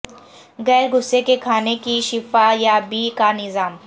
غیر غصے کے کھانے کی شفا یابی کا نظام